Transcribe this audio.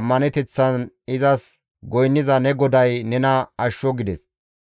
ammaneteththan izas goynniza ne GODAY nena ashsho» gides.